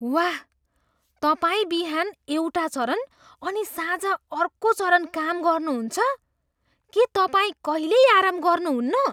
वाह! तपाईँ बिहान एउटा चरण अनि साँझ अर्को चरण काम गर्नुहुन्छ! के तपाईँ कहिल्यै आराम गर्नुहुन्न?